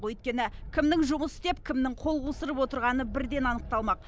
өйткені кімнің жұмыс істеп кімнің қол қусырып отырғаны бірден анықталмақ